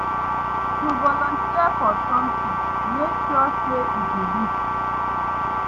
To volunteer for something make sure say e de legit